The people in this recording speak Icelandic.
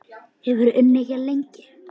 Hefurðu unnið hérna lengi?